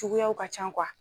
Juguyaw ka can